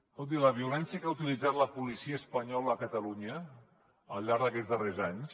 escolti la violència que ha utilitzat la policia espanyola a catalunya al llarg d’aquests darrers anys